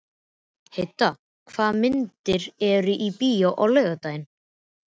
Heida, hvaða myndir eru í bíó á laugardaginn?